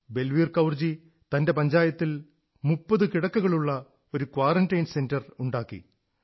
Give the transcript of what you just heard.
ബൽവീർ കൌർജി തന്റെ പഞ്ചായത്തിൽ 30 കിടക്കകളുള്ള ഒരു ക്വാറന്റൈൻ സെന്റർ ഉണ്ടാക്കി